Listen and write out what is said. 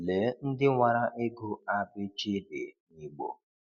Lee ndị nwara ịgụ a b ch d n'Igbo.